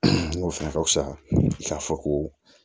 N ko fɛnɛ ka fisa k'a fɔ ko